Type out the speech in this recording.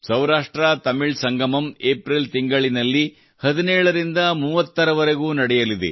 Saurashtra Tamil Sangamam April ತಿಂಗಳಿನಲ್ಲಿ 17 ರಿಂದ 30 ರವರೆಗೂ ನಡೆಯಲಿದೆ